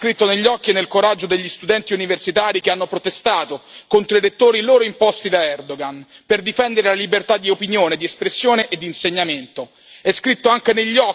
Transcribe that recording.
Il futuro di Ankara è scritto negli occhi e nel coraggio degli studenti universitari che hanno protestato contro i rettori loro imposti da Erd oğan, per difendere la libertà di opinione, di espressione e di insegnamento.